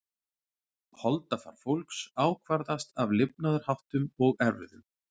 Holdafar fólks ákvarðast af lifnaðarháttum og erfðum.